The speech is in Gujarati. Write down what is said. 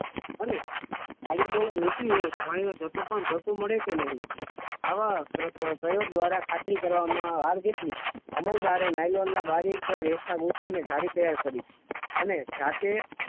અને થાળી બહુ મોટી હોય તો જથ્થો બહુ મોટો મળે કે નહીં આવા પ્રયોગ દ્વારા ખાતરી કરવામાં હાર્દિકની અમલદારે નાયલોનના બારીક રેસા ગુંથી ને જાડી તૈયાર કરી છે અને સાથે